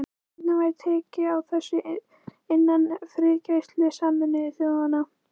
Hvernig væri tekið á þessu innan friðargæslu Sameinuðu þjóðanna?